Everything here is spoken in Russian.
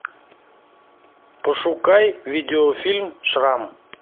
пошукай видеофильм шрам